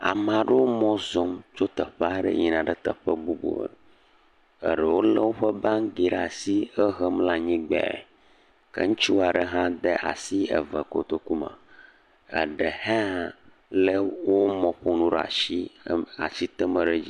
amaɖewo mɔzɔm tso teƒaɖe yina ɖe teƒe bubu eɖewo le wóƒe bangiwo ɖasi he hem le anyigbã ke ŋutsuaɖe ha de asi eve kotoku me eɖe hã le wó mɔƒonu ɖasi asitem ɖe dzi